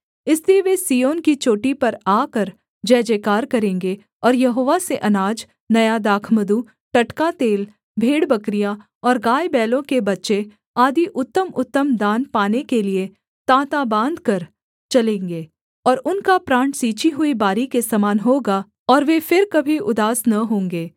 इसलिए वे सिय्योन की चोटी पर आकर जयजयकार करेंगे और यहोवा से अनाज नया दाखमधु टटका तेल भेड़बकरियाँ और गायबैलों के बच्चे आदि उत्तमउत्तम दान पाने के लिये ताँता बाँधकर चलेंगे और उनका प्राण सींची हुई बारी के समान होगा और वे फिर कभी उदास न होंगे